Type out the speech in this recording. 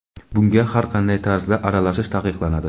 bunga har qanday tarzda aralashish taqiqlanadi.